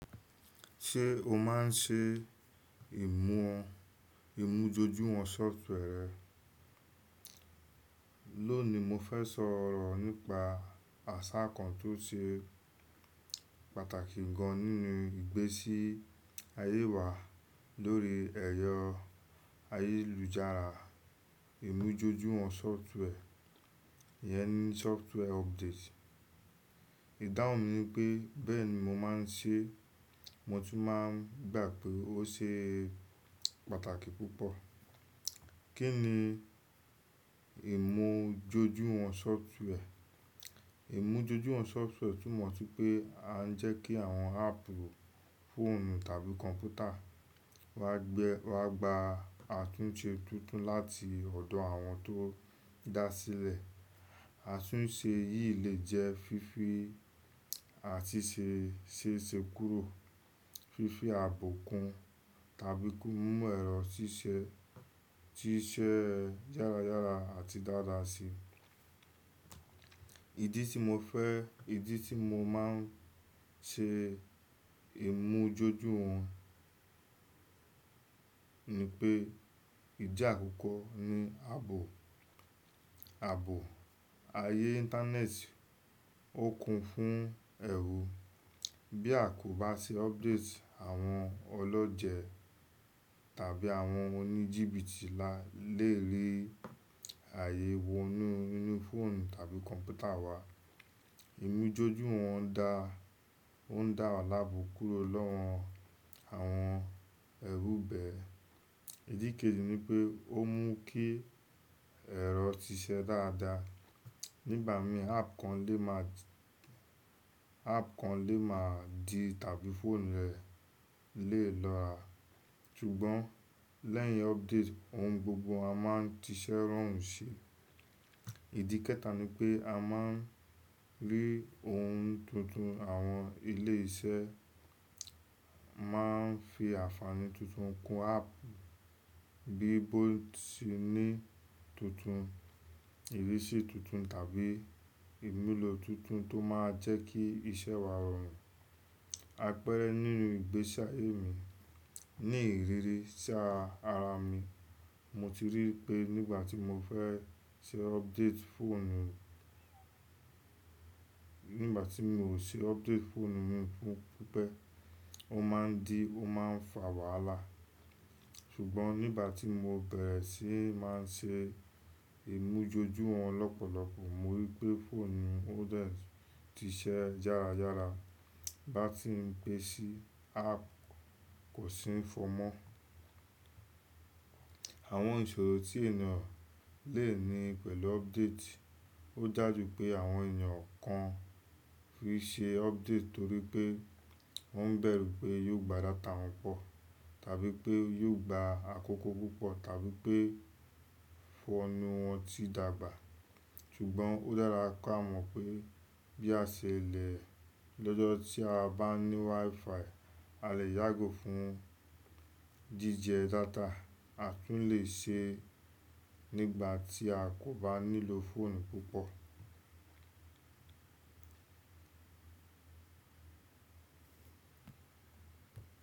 Ṣé o máa ń ṣe ìmújojúwọn software rẹ? Lónìí mo fẹ́ sọ ọ̀rọ̀ nípa àṣà kan tó ṣe pàtàkì gan nínú ìgbésí ayé wa lórí ẹ̀yọ ayélujára, ìmújójúwọn software, iyẹn ni software update. Ìdáhùn mi ni pé bẹ́ẹ̀ni mo máa ń ṣe, mo tún máa ń gbà pé ó ṣe pàtàkì púpọ̀. Kí ni ìmújójúwọn software? Ìmújójúwọn software túmọ̀ sí pé a ń jẹ́ kí àwọn app, fóònù tàbí kọ̀ǹpútà wa gbẹ wa gbà àtúnṣe tuntun láti ọ̀dọ̀ àwọn tó dá a sílẹ̀. Àtúnṣe yìí lè jẹ́ fífi àti ṣíṣe kúrò, fífi ààbò kun tàbí kí ó mú ẹ̀rọ ṣíṣe yára yára àti dáadáa si. Ìdí tí mo fẹ́, ìdí tí mo máa ń ṣe ìmújójúwọn ni pé ìdí àkọ́kọ́ ni ààbò ayé Internet ó kun fún ẹ̀rù. Bí a kò bá ṣe update, àwọn ọlọ́jẹ̀ tàbí àwọn oníjìbìtì la lè rí ààyè wọ inú fóònù tàbí kọ̀ǹpútà wa. Ìmújójúwọn dá o un da wa láàbò kúrò lọ́wọ́ àwọn ẹ̀rù bẹ́ẹ̀. Ìdí keji ni pé ó mú kí ẹ̀rọ ṣíṣe dáadáa. Nígbà mii app kan lè máa di tàbí fóònù rẹ lè lọ à. Sùgbọ́n lẹ́yìn update ohun gbogbo a máa ń tíṣẹ́ rọrùn sí i. Ìdí kẹ́ta ni pé a máa ń rí ohun tuntun. Àwọn ilé iṣẹ́ máa ń fi àfààní tuntun kun app bí i botìní tuntun, ìrísí tuntun tàbí ìmúlò tuntun tó máa jẹ́ kí isẹ́ wa rọrùn. Àpẹẹrẹ nínú ìgbésí ayé mi, ní ìrírí sí ara mi, mo ti rí pé nígbà tí mo fe ṣe update phone mi ṣe update fóònù mi npẹ, ó máa ń dí, ó máa ń fa wàhálà. Sugbọn nígbà tí mo bẹ̀rẹ̀ sí í máa ṣe ìmújójúwọn lọ́pọ̀lọpọ̀, mo rí pé fóònù mi ó dẹ̀ ṣiṣẹ́ yára yára. Bá ti ń gbé sí i, app kò sì ń fọ́ mọ́. Àwọn ìṣòro tí ènìyàn lè ní pẹ̀lú update. Ó dàjú pé àwọn ènìyàn kan fi ṣe update torí pé wọ́n bẹ̀rù pé yóò gba data wọn pọ̀ tàbí pé yóò gba àkókò púpọ̀ tàbí pé fóònù wọn ti dàgbà. Ṣugbọn ó dára ká mọ̀ pé bí a ṣe lẹ̀ lọ́jọ́ tí a bá ní Wi-Fi a lè yàgò fún jíjẹ data, àtún lè ṣe nígbà tí a kò bá nílò fóònù púpọ̀.